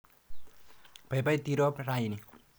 Paipai Tirop raini.